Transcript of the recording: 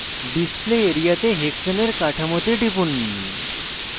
display area তে hexane এর কাঠামোতে টিপুন